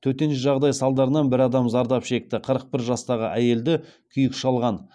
төтенше жағдай салдарынан бір адам зардап шекті қырық бір жастағы әйелді күйік шалған